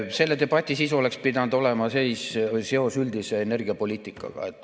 Selle debati sisu oleks pidanud olema seos üldise energiapoliitikaga.